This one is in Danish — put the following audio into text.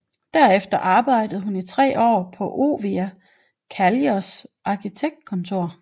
Derefter arbejdede hun i tre år på Oiva Kallios arkitektkontor